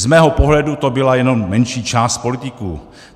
Z mého pohledu to byla jednom menší část politiků.